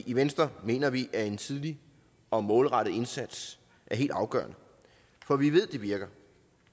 i venstre mener vi at en tidlig og målrettet indsats er helt afgørende for vi ved at det virker